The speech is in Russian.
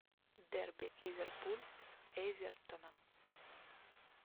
дерби ливерпуль с эвертоном